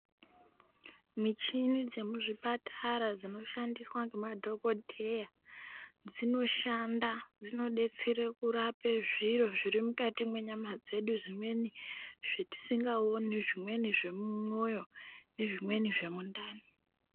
Michini dzemuzvipatara dzinoshandiswa ngemadhokodheya dzinoshanda dzinodetsere kurapa zviro zvirimukati mwenyama dzedu. Zvimweni zvetisingaoni, zvimweni zvemumwoyo nezvimweni zvemundani.